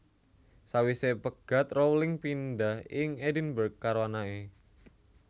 Sawisé pegat Rowling pindah ing Edinburg karo anaké